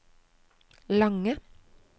lange